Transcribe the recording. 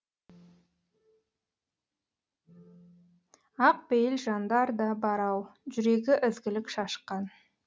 ақ пейіл жандар да бар ау жүрегі ізгілік шашқан